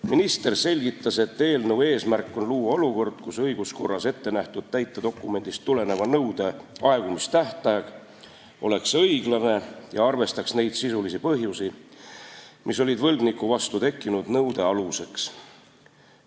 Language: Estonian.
Minister selgitas, et eelnõu eesmärk on luua olukord, kus õiguskorras ettenähtud täitedokumendist tuleneva nõude aegumistähtaeg oleks õiglane ja arvestaks neid sisulisi põhjusi, mis olid võlgniku vastu tekkinud nõude aluseks.